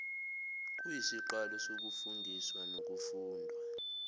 kuyisiqalo sokufundiswa nokufundwa